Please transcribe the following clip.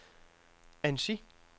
Annecy